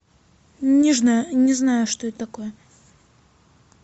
не знаю что это такое